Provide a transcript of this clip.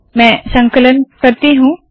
मैं संकलन करती हूँ